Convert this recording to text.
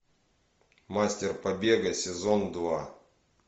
мастер побега сезон два